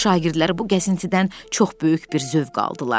Şagirdlər bu gəzintidən çox böyük bir zövq aldılar.